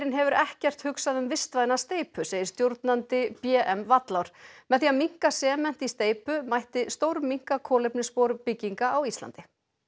hefur ekkert hugsað um vistvæna steypu segir stjórnandi b m með því að minnka sement í steypu mætti stórminnka kolefnisspor bygginga á Íslandi